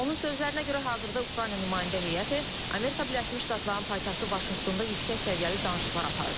Onun sözlərinə görə, hazırda Ukrayna nümayəndə heyəti Amerika Birləşmiş Ştatlarının paytaxtı Vaşinqtonda yüksək səviyyəli danışıqlar aparır.